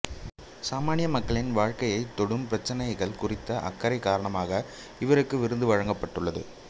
சாமானிய மக்களின் வாழ்க்கையைத் தொடும் பிரச்சினைகள் குறித்த அக்கறை காரணமாக இவருக்கு விருது வழங்கப்பட்டுள்ளது